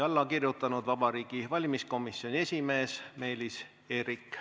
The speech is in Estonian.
" Alla on kirjutanud Vabariigi Valimiskomisjoni esimees Meelis Eerik.